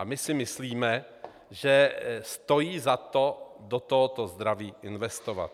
A my si myslíme, že stojí za to do tohoto zdraví investovat.